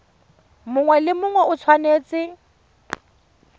mongwe le mongwe o tshwanetse